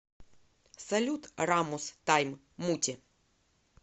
салют рамус тайм муте